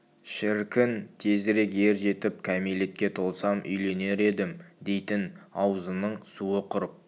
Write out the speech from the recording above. шіркін тезірек ер жетіп кәмелетке толсам үйленер едім дейтін аузының суы құрып